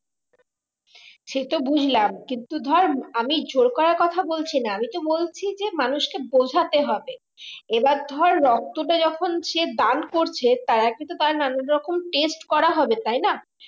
সে তো বুজলাম কিন্তু ধরে আমি জোর করার কথা বলছি না আমি তো বলছি মানুষকে বুঝতে হবে এবার ধর রক্তটা যখন সে দান করছে তারা কিন্তু তারা নানান রকম test করা হবে তাই না